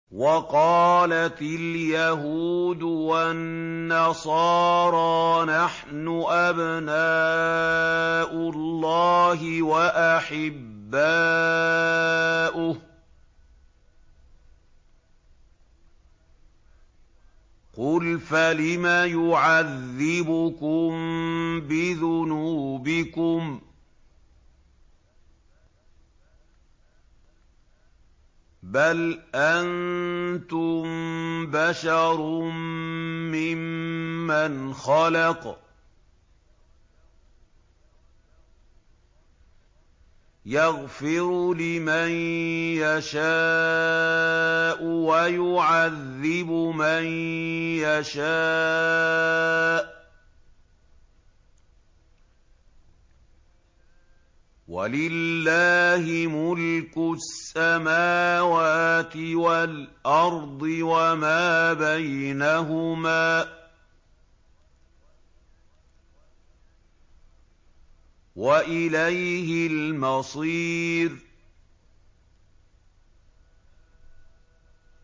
وَقَالَتِ الْيَهُودُ وَالنَّصَارَىٰ نَحْنُ أَبْنَاءُ اللَّهِ وَأَحِبَّاؤُهُ ۚ قُلْ فَلِمَ يُعَذِّبُكُم بِذُنُوبِكُم ۖ بَلْ أَنتُم بَشَرٌ مِّمَّنْ خَلَقَ ۚ يَغْفِرُ لِمَن يَشَاءُ وَيُعَذِّبُ مَن يَشَاءُ ۚ وَلِلَّهِ مُلْكُ السَّمَاوَاتِ وَالْأَرْضِ وَمَا بَيْنَهُمَا ۖ وَإِلَيْهِ الْمَصِيرُ